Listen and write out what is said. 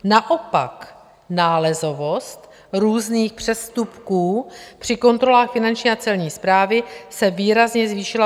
Naopak nálezovost různých přestupků při kontrolách Finanční a Celní správy se výrazně zvýšila.